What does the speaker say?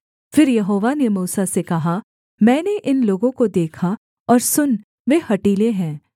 फिर यहोवा ने मूसा से कहा मैंने इन लोगों को देखा और सुन वे हठीले हैं